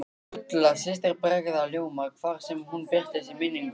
Gulla systir bregður ljóma hvar sem hún birtist í minningunni.